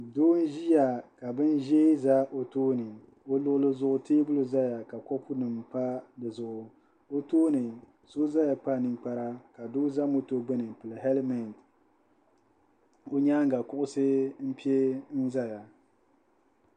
Doo n-ʒiya ka bin'ʒee za o tooni o luɣili zuɣu teebuli zaya ka kopunima pa di zuɣu o tooni so zaya kpa ninkpara ka doo za moto gbuni ni helimeti ka o nyaaŋa kuɣusi pe n-zaya.